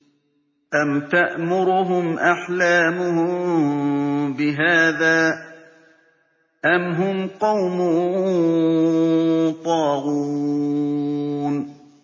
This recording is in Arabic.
أَمْ تَأْمُرُهُمْ أَحْلَامُهُم بِهَٰذَا ۚ أَمْ هُمْ قَوْمٌ طَاغُونَ